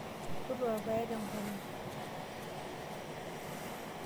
Toluaa irpaek te ngolong'.